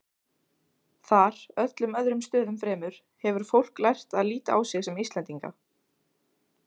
Þar, öllum öðrum stöðum fremur, hefur fólk lært að líta á sig sem Íslendinga.